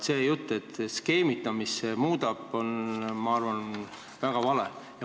See jutt, et see skeemitamist tekitab, on, ma arvan, väga vale.